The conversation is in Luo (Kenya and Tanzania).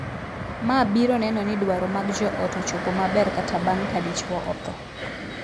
Ma biro neno ni dwaro mag joot ochopo maber kata bang' ka dichwo othoo.